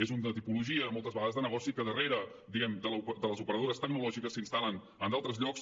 és una tipologia moltes vegades de negoci que darrere diguem ne de les operadores tecnològiques s’instal·len en d’altres llocs